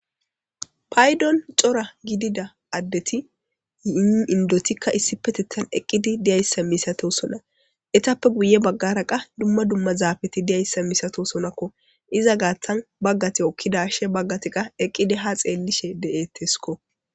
paydon cora gidida addeti yii indotikka issipetittan eqqidi diyayssa misato sona etappe guye baggara qa dumma dumma zaabeti diyayssa misato sonakko iza gaaththan baggati okkidashe baggatiqa eqqidi ha xeellishe de'ettesko